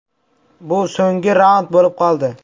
Bu so‘nggi raund bo‘lib qoldi.